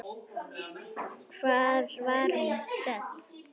Hvar var hún stödd?